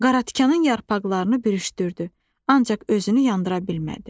Qaratikanın yarpaqlarını bürüşdürdü, ancaq özünü yandıra bilmədi.